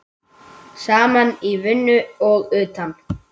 Saman í vinnu og utan.